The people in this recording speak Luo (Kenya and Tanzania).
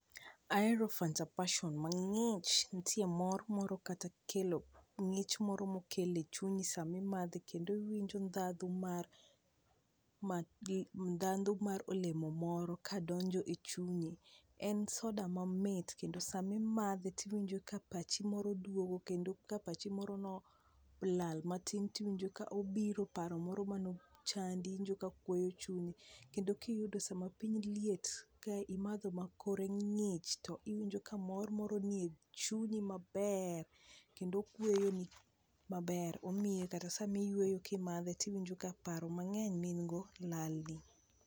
Ahero fanta passion mang'ich, nitie mor moro kata kelo ng'ich moro mokelo e chunyi samimadhe kendo iwinjo ndhadhu mar m ndhadhu mar olemo moro kadonjo e chunyi. En soda mamit kendo samimadhe tiwinjo kapachi moro duogo, kendo ka pachi moro nolal matin tiwinjo ka obiro, paro moro mane chandi iwinjo ka okweyo chunyi. Kendo kiyudo sama piny liet, ka imadho makore ng'ich to iwinjo kamor moro nie chunyi maber kendo okweyoni maber omiyo kata sama iyueyo kimadhe tiwinjo ka paro mang'eny ma in go, lalni.